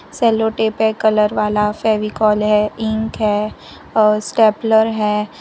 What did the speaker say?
Sellotape है colour वाला फेविकोल है इंक है और स्टेपलर है।